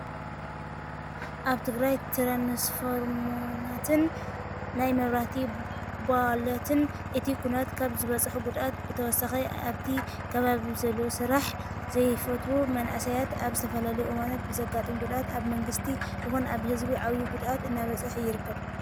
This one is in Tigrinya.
ኣብ ትግራይ ትራንስፈርሞናትን ናይ መብራህቲ ቦላትን እቲ ኩናት ካብ ዘብፅሖ ጉድኣት ብተወሳኪ ኣብቲ ከባቢ ብዘለው ስራሕ ዘይፈትዉ መናእሰያት ኣብ ዝተፈላለዩ እዋናት ብዘጋጥሞ ጉድኣት ኣብ መንግስቲ ይኹን ኣብ ህዝቢ ዓብይ ጉድኣት እናበፅሓ ይርከብ።